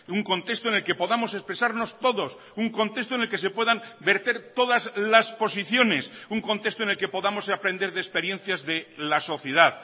un contexto en el que podamos expresarnos todos un contexto en el que se puedan verter todas las posiciones un contexto en el que podamos aprender de experiencias de la sociedad